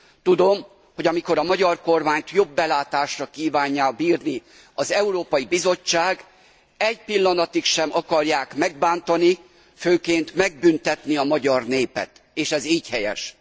Tudom, hogy amikor a magyar kormányt jobb belátásra kívánják bírni az Európai Bizottság egy pillanatig sem akarják megbántani, főként megbüntetni a magyar népet, és ez így helyes.